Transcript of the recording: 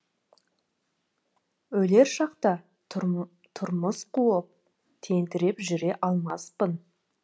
өлер шақта тұрмыс қуып тентіреп жүре алмаспын